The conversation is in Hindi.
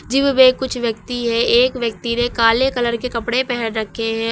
जिम में कुछ व्यक्ति हैं एक व्यक्ति ने काले कलर के कपड़े पहन रखे हैं।